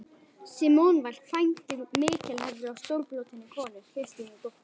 Símon var kvæntur mikilhæfri og stórbrotinni konu, Kristínu, dóttur